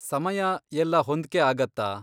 ಸಮಯ ಎಲ್ಲ ಹೊಂದ್ಕೆ ಆಗತ್ತಾ?